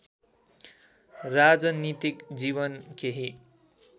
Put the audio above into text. राजनीतिक जीवन केही